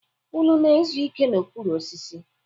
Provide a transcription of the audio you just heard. Unu na-ezu ike n'okpuru osisi.